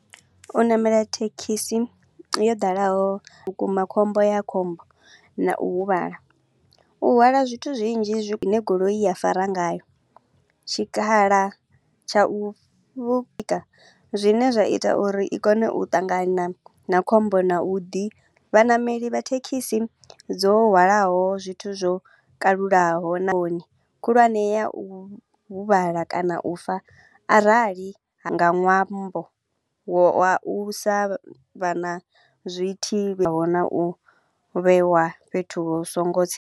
U namela thekhisi yo dalaho, vhukuma khombo ya khombo na u huvhala. U hwala zwithu zwinzhi zwine goloi ya fara ngayo. Tshikhala tsha u zwine zwa ita uri i kone u ṱangana na khombo na u ḓi vhaṋameli vha thekhisi dzo hwalaho zwithu zwo kalulaho na hone khulwane ya u huvhala kana u fa. Arali nga ṅwambo wa u sa vha na zwithihi na u vhewa fhethu hu so ngo tsire.